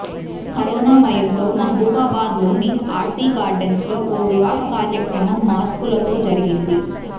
corona భయంతో మహబూబాబాద్ లోని Aarti gardens లో ఓ వివాహ కార్యక్రమం మాస్కులతో జరిగింది